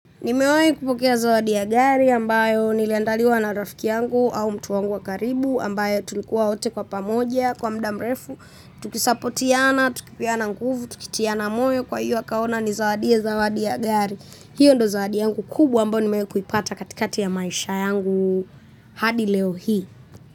Nimewai kupokea zawadi ya gari ambayo nilandaliwa na rafiki yangu au mtu wangu wa karibu ambaye tulikuwa wote kwa pamoja kwa muda mrefu. Tukisapotiana, tukipeana nguvu, tukitiana moyo kwa hiyo akaona anizawadie zawadi ya gari. Hiyo ndo zawadi yangu kubwa ambayo nimewai kuipata katikati ya maisha yangu hadi leo hii.